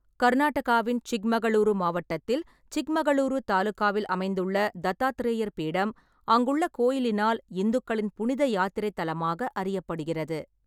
கர்நாடகாவின் சிக்மகளூரு மாவட்டத்தில் சிக்மகளூரு தாலுகாவில் அமைந்துள்ள தத்தாத்ரேயர் பீடம் அங்குள்ள கோயிலினால் இந்துக்களின் புனித யாத்திரை தலமாக அறியப்படுகிறது.